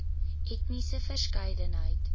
etniese verskeidenheid